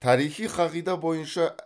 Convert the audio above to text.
тарихи қағида бойынша